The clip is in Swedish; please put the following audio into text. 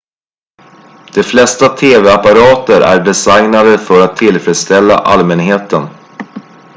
de flesta tv-apparater är designade för att tillfredsställa allmänheten